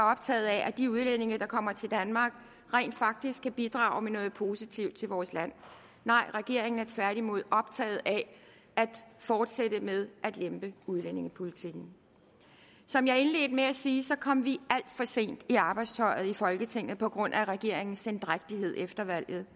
optaget af at de udlændinge der kommer til danmark rent faktisk kan bidrage med noget positivt til vores land nej regeringen er tværtimod optaget af at fortsætte med at lempe udlændingepolitikken som jeg indledte med at sige så kom vi alt for sent i arbejdstøjet i folketinget på grund af regeringens sendrægtighed efter valget